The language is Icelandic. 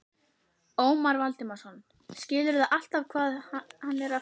Ómar Valdimarsson: Skilurðu alltaf hvað hann er að fara?